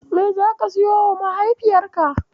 Me zaka siyowa mahaifiyarka?